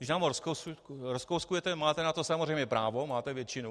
Když nám ho rozkouskujete, máte na to samozřejmě právo, máte většinu.